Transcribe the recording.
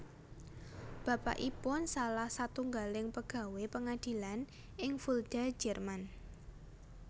Bapakipun salah satunggaling pegawé pengadilan ing Fulda Jerman